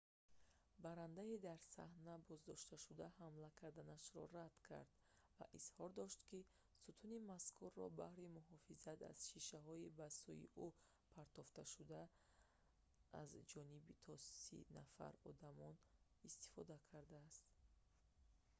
баррандаи дар саҳна боздоштшуда ҳамла карданашро рад кард ва изҳор дошт ки сутуни мазкурро баҳри муҳофизат аз шишаҳои ба сӯи ӯ партофташуда за ҷониби то сӣ нафар одамон истифода кардааст